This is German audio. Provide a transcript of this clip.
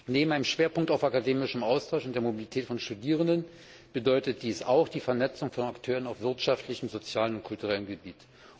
Neben einem Schwerpunkt auf akademischem Austausch und der Mobilität von Studierenden bedeutet dies auch die Vernetzung von Akteuren auf wirtschaftlichem, sozialem und kulturellem Gebiet.